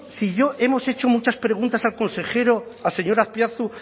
si yo hemos hecho muchas preguntas al consejero al señor azpiazu